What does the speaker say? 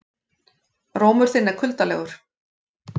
Rómur þinn er kuldalegur